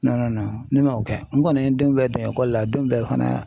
ne man o kɛ n kɔni ye n denw bɛɛ don ekɔli la denw bɛɛ fana